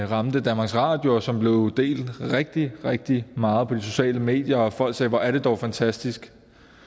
ramte danmarks radio og som blev delt rigtig rigtig meget på de sociale medier og folk sagde hvor er det dog fantastisk